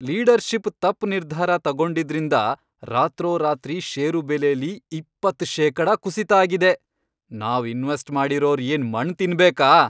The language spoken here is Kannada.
ಲೀಡರ್ಷಿಪ್ ತಪ್ಪ್ ನಿರ್ಧಾರ ತಗೊಂಡಿದ್ರಿಂದ ರಾತ್ರೋರಾತ್ರಿ ಷೇರು ಬೆಲೆಲಿ ಇಪ್ಪತ್ತ್ ಶೇಕಡ ಕುಸಿತ ಆಗಿದೆ. ನಾವ್ ಇನ್ವೆಸ್ಟ್ ಮಾಡಿರೋರ್ ಏನ್ ಮಣ್ಣ್ ತಿನ್ಬೇಕಾ?!